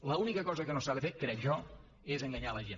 l’única cosa que no s’ha de fer crec jo és enganyar la gent